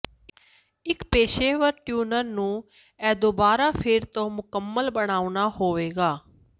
ਇੱਕ ਪੇਸ਼ੇਵਰ ਟਿਊਨਰ ਨੂੰ ਇਹ ਦੁਬਾਰਾ ਫਿਰ ਤੋਂ ਮੁਕੰਮਲ ਬਣਾਉਣਾ ਹੋਵੇਗਾ